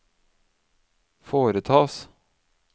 foretas